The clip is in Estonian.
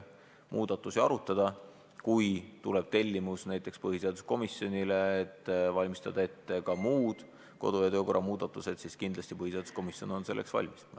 Kui põhiseaduskomisjonile tuleb näiteks tellimus valmistada ette ka muud kodu- ja töökorra muudatused, siis oleme kindlasti selleks valmis.